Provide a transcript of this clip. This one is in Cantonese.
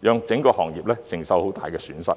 讓整個行業承受極大損失。